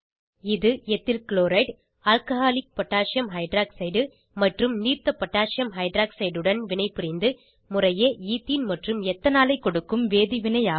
இது ethyl chloride உடன் alcoholic potassium hydroxide மற்றும் நீர்த்த பொட்டாசியம் ஹைட்ராக்சைடு உடன் வினைப்புரிந்து முறையே ஈத்தீன் மற்றும் எத்தனாலை பெற வேதி வினை ஆகும்